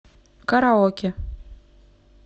караоке